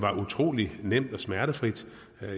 utrolig nemt og smertefrit